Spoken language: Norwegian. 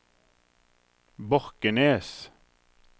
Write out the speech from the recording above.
Borkenes